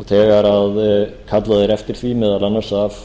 og þegar kallað er eftir því meðal annars af